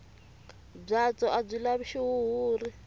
byatso a byi lavi xihuhuri